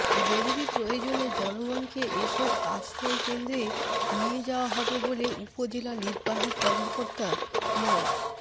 জরুরি প্রয়োজনে জনগণকে এসব আশ্রয়কেন্দ্রে নিয়ে যাওয়া হবে বলে উপজেলা নির্বাহী কর্মকর্তা মো